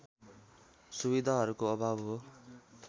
सुविधाहरूको अभाव हो